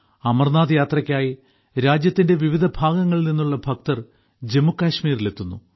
അമർനാഥ് യാത്രയ്ക്കായി രാജ്യത്തിന്റെ വിവിധ ഭാഗങ്ങളിൽ നിന്നുള്ള ഭക്തർ ജമ്മുകശ്മീരിലെത്തുന്നു